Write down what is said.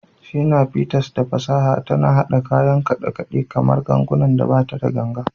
Shina Peters, da fasaha tana haɗa kayan kidan kaɗe-kaɗe kamar gangunan bata da ganga.